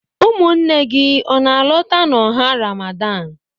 Ụmụnne gị ọ na-alọta n'ọha Ramadan?